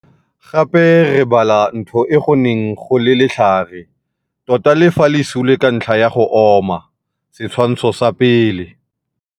Gape re bala ntho e go neng go le letlhare - tota le fa le sule ka ntlha ya go oma, Setshwantsho sa 1.